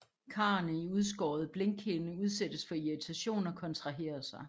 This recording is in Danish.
Karrene i udskåret blinkhinde udsættes for irritation og kontraherer sig